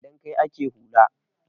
Don kai ake hula.